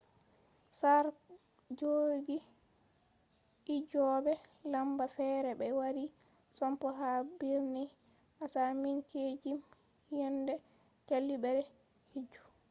sare jogi hijjobe lamba fere be wari sompo ha birni asaminkeejim yende jajibere hijju